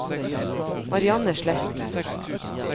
Marianne Sletten